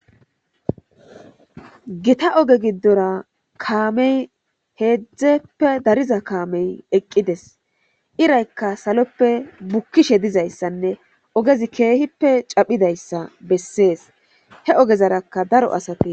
Gita oge giddora kaamey heedzdzeppe dariza kaamey eqqides iraykka saloppe bukkishe dizayssanne ogezi keehippe caphidayssa bessees he ogezarakka daro asate.